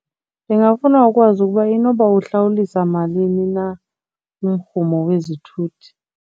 Ndingafuna ukwazi ukuba inoba uhlawulisa malini na umrhumo wezithuthi.